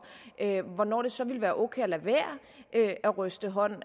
hvornår det så ville være okay at lade være at ryste hånd